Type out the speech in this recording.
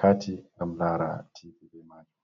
carti ngam lara tv be majum.